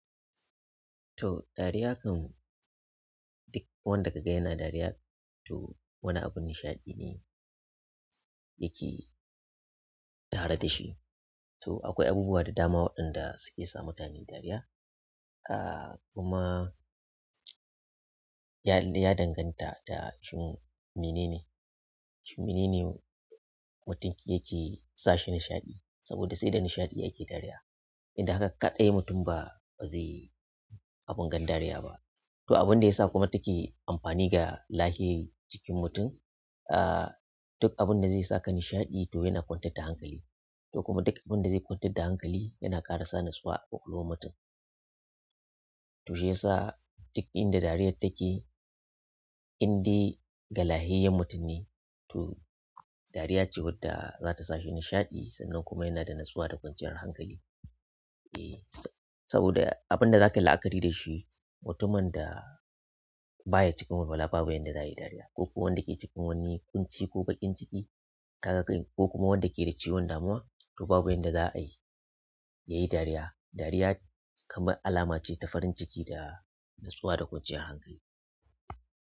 To dariya kan duk wanda kaga yana dariya to wani abun nishaɗi ne yake tare da shi. To akwai abubuwa da dama waɗanda suke sa mutane dariya, ah kuma ya danganta da shin mene ne, shin mene ne mutum yake sa shi nishaɗi saboda sai da nishaɗi yake dariya. Don haka kaɗai mutum ba zai abun gan dariya ba. To abin da yasa kuma take amfani ga lahiyan jikin mutum ah duk abin da zai saka nishaɗi to yana kwantar da hankali to kuma duk abin da zai kwantar da hankali yana ƙara sa nasuwa a ƙwaƙwalwar mutum. To shi yasa duk inda dariyar take indai ga lahiyayyen mutum ne. To dariya ce wadda za ta sa shi nishaɗi sannan kuma yana da natsuwa da kwanciyar hankali. Saboda abunda zakayi la'akari dashi mutumin da baya cikin walwala babu yadda za'ayi yayi dariya koko wanda ke cikin wani kunci ko bakin ciki ko wanda ke da cutar damuwa to babu yadda za'ayi yayi dariya dariya kamar alama ce ta farin ciki da natsuwa da kwanciyar hankali.